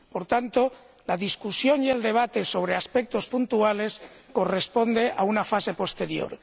Por tanto, la discusión y el debate sobre aspectos puntuales corresponde a una fase posterior.